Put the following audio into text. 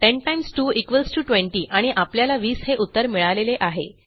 10 x 2 20 आणि आपल्याला 20 हे उत्तर मिळालेले आहे